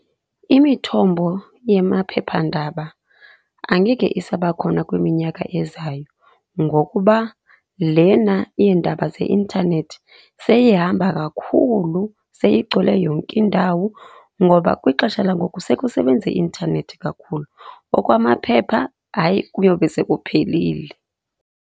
Imithombo yamaphephandaba angeke isabakhona kwiminyaka ezayo ngokuba lena yeendaba zeintanethi seyihamba kakhulu, seyigcwele yonke indawo ngoba kwixesha langoku sekusebenza i-intanethi kakhulu. Okwamaphepha hayi kuyobe sekuphelile.